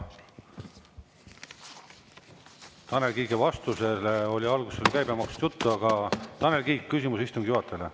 Tanel Kiige vastusele oli alguses käibemaksust juttu, aga Tanel Kiik, küsimus istungi juhatajale.